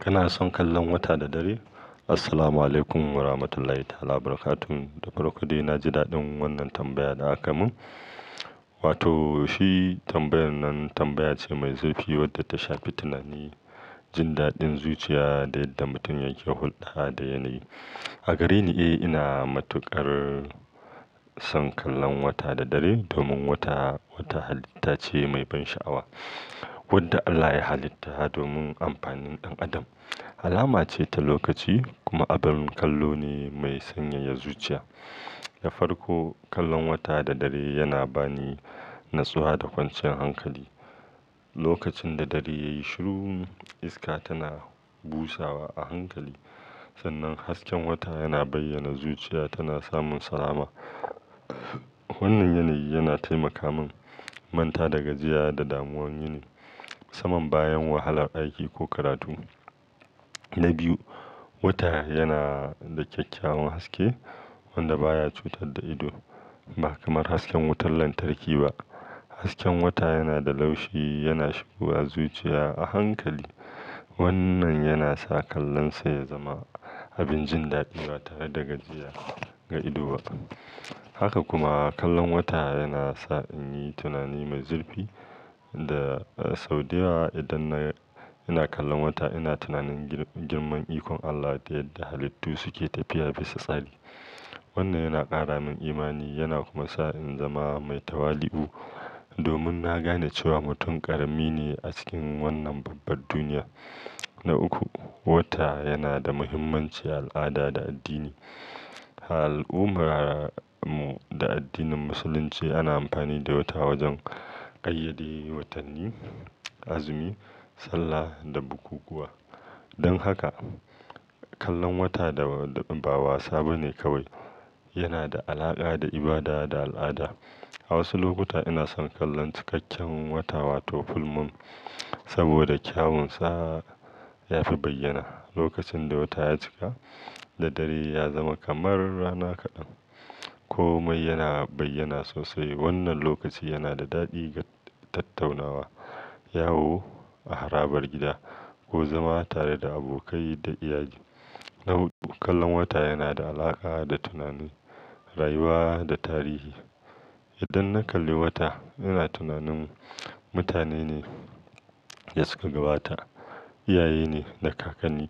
Kana son kallon wata da dare? Assalamualaikum warahmatullahi ta'alabarkatuh. Da farko dai na ji daɗin wannan tambaya da aka mun. Wato shi tambayar nan tambaya ce mai zurfi wadda ta shafi tunani, jin daɗin zuciya da yadda mutum yake hulɗa da yanayi. A gareni, eh, ina matuƙar son kallon wata da dare domin wata, wata halitta ce mai ban sha'awa wadda Allah ya halitta domin amfanin ɗan adam. Alama ce ta lokaci kuma abin kallo ne mai sanyaya zuciya. Da farko, kallon wata da dare yana ba ni natsuwa da kwanciyar hankali. Lokacin da dare ya yi shiru, iska tana busawa a hankali sannan hasken wata yana bayyana zuciya tana samun salama. Wannan yanayi yana taimaka mun manta da gajiya da damuwan yini saman bayan wahalar aiki ko karatu. Na biyu, wata yana da kyakkyawan haske wanda baya cutar da ido ba kamar hasken wutar lantarki ba. Hasken wata yana da laushi, yana shigowa zuciya a hankali. Wannan yana sa kallonsa ya zama abin jin daɗi ba tare da gajiya ga ido ba. Haka kuma, kallon wata yana sa in yi tunani mai zurfi da, eh, sau da yawa idan na, ina kallon wata ina tunanin girman ikon Allah da yadda halittu suke tafiya bisa tsari. Wannan yana ƙara min imani yana kuma sa in zama mai tawali'u domin na gane cewa mutum ƙarami ne a cikin wannan babbar duniya. Na uku, wata yana da muhimmanci a al'ada da addini. A al'ummar mu da addinin Musulunci ana amfani da wata wajen ƙayyade watanni, azumi, sallah da bukukuwa. Don haka, kallon wata da ba wasa ba ne kawai, yana da alaƙa da ibada da al'ada. A wasu lokuta ina son kallon cikakken wata wato full moon saboda kyawunsa ya fi bayyana. Lokacin da wata ya cika da dare ya zama kamar rana kaɗan ko mai yana bayyana sosai wannan lokaci yana da daɗi ga tattaunawa, yawo a harabar gida ko zama tare da abokai da iyaye. Na huɗu, kallon wata yana da alaƙa da tunani, rayuwa da tarihi. Idan na kalli wata ina tunanin mutane ne ya suka gabata, iyaye ne da kakanni,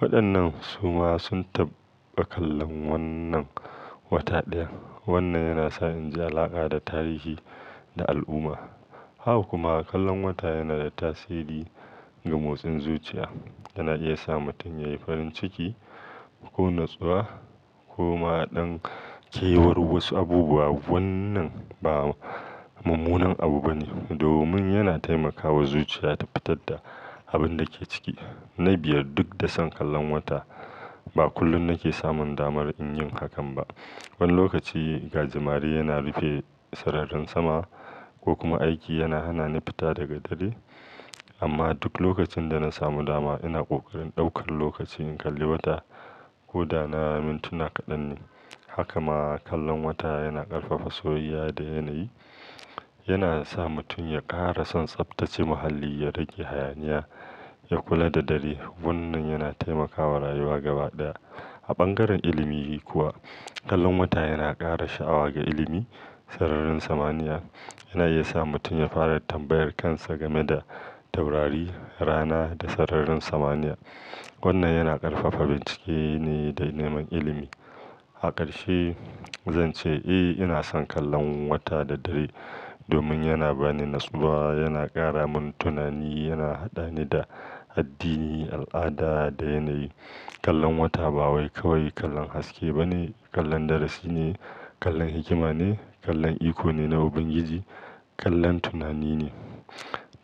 waɗannan su ma sun taɓa kallon wannan wata ɗaya. Wannan yana sa in ji alaƙa da tarihi da al'umma. Haka kuma, kallon wata yana da tasiri ga motsin zuciya. Yana iya sa mutum yayi farin ciki ko natsuwa koma dan kewar wasu abubuwa wannan ba mummunar abu bane domin yana taimaka wa zuciya ta fitar da abunda yake ciki, na biyar dukda son kallon wata ba kullum nake samun damar yin hakan ba wani lokaci gajimare yana rufe sararin sama kokuma aiki yana hanani fita da daddare amma duk lokacin dana samu dama ina kokarin daukan lokaci na kalli wata koda na lokaci kadan ne hakama kallon wata yana karfafa soyayya da yanayi yana sa mutum ya kara son tsaftache muhalli ya rage hanayi ya kula da dare Wannan yana taimakawa rayuwa gaba ɗaya. A bangaren ilimi kuwa, kallon wata yana ƙara sha'awa ga ilimi, sararin samaniya. Yana iya sa mutum ya fara tambayar kansa game da taurari, rana da sararin samaniya. Wannan yana ƙarfafa bincike ne da neman ilimi. A karshe zanche eh inason kallon wata da dare domin yana bani nitsuwa yana karamin tunani yana hadani da addini alada da yanayi, kallon wata ba wai kallon haske bane kallon darasine kallon hikima ne kallon ikone na ubangiji kallon tunani ne.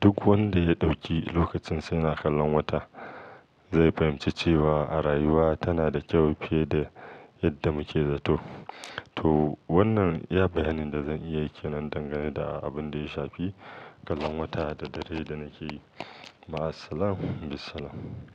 Duk wanda ya ɗauki lokacin sa yana kallon wata zai fahimci cewa rayuwa tana da kyau fiye da yadda muke zato. To wannan iya bayanin da zan iya yi kenan danganeda abunda ya shafi kallon wata da dare da nakeyi ma assalam bissalam.